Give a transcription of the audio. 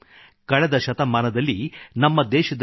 ಕಳೆದ ಶತಮಾನದಲ್ಲಿ ನಮ್ಮ ದೇಶದಲ್ಲಿ ಡಾ